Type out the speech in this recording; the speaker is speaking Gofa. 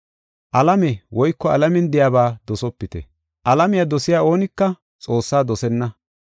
Alame woyko alamen de7iyaba dosopite. Alamiya dosiya oonika Xoossaa dosenna.